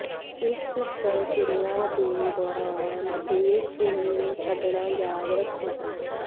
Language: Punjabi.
ਇਸ ਪ੍ਰਕਿਰਿਆ ਦੇ ਦੌਰਾਨ ਬ੍ਰੇਕਸ ਨੂੰ ਛੱਡਣਾ ਯਾਦ ਰੱਖੋ